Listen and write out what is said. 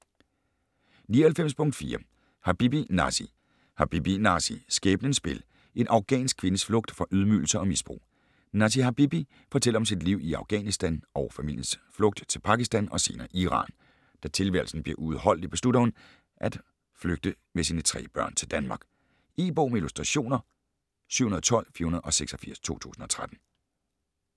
99.4 Habibi, Nasi Habibi, Nasi: Skæbnens spil: En afghansk kvindes flugt fra ydmygelser og misbrug Nasi Habibi fortæller om sit liv i Afghanistan og familiens flugten til Pakistan og senere Iran. Da tilværelsen bliver uudholdelig beslutter hun, at flygter med sine tre børn til Danmark. E-bog med illustrationer 712486 2013.